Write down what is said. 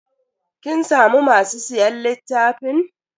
Kin samu masu siyan littafin?